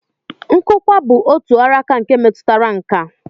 Nkụkwa bụ otu ọrụaka nke metụtara nkà